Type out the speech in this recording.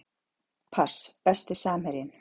pass Besti samherjinn?